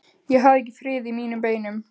Ég hafði ekki frið í mínum beinum.